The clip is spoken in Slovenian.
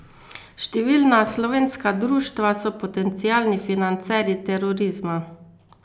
Številna slovenska društva so potencialni financerji terorizma.